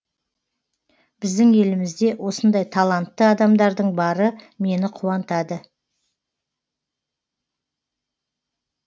біздің елімізде осындай талантты адамдардың бары мені қуантады